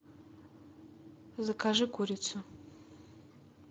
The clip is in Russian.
закажи курицу